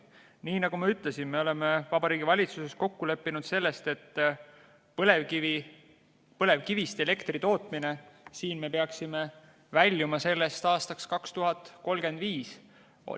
Nii nagu ma ütlesin, me oleme Vabariigi Valitsuses kokku leppinud selles, et põlevkivist elektri tootmisest me peaksime väljuma aastaks 2035.